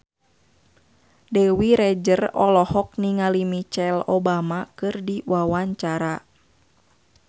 Dewi Rezer olohok ningali Michelle Obama keur diwawancara